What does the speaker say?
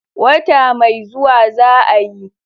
Wata mai zuwa za'a yi.